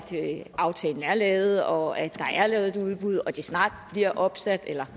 aftalen er lavet og at der er lavet et udbud og at de snart bliver opsat eller